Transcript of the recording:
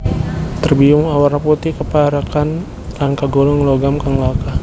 Terbium awarna putih kapérakan lan kagolong logam kang langka